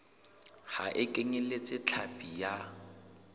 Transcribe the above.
ha e kenyeletse hlapi ya